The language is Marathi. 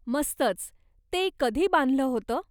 मस्तच, ते कधी बांधलं होतं?